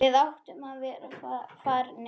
Við áttum að vera farnir.